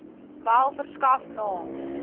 wel verskaf naam